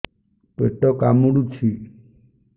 ପେଟ କାମୁଡୁଛି